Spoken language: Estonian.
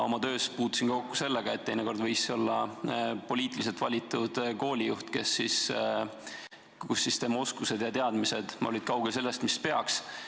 Oma töös puutusin kokku sellega, et teinekord võis olla poliitiliselt valitud koolijuht, kelle oskused ja teadmised olid kaugel sellest, mis peaks.